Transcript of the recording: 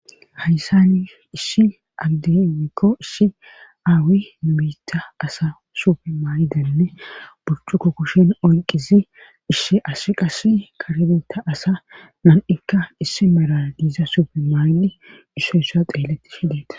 hayssani isshi addemikko ishi aawi numita asa supe maay7idanne burcuko kushen onqizi ishshi asi qas karedeta asa man7ikka issi mara diiza supe maayidi issoyssa xeeletti shideeta